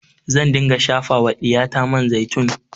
Zan dinga shafa wa ɗiyata man zaitun